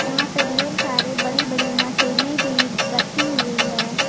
यहां पर ढेर सारे बड़ी बड़ी मशीने भी रखी हुई हैं।